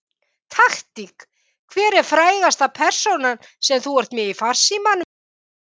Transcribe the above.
Taktík Hver er frægasta persónan sem þú ert með í farsímanum þínum?